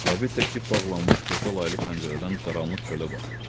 Sabit də kip bağlanmış qoşa laylı pəncərədən qaranlıq çölə baxırdı.